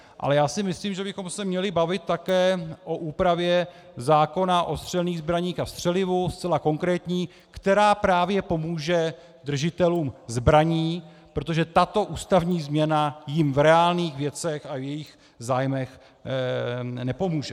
Ale já si myslím, že bychom se měli bavit také o úpravě zákona o střelných zbraních a střelivu, zcela konkrétní, která právě pomůže držitelům zbraní, protože tato ústavní změna jim v reálných věcech a v jejich zájmech nepomůže.